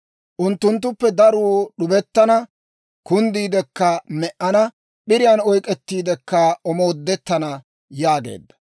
Unttunttuppe daruu d'ubettana; kunddiidekka me"ana; p'iriyaan oyk'ettiidekka omoodettana» yaageedda.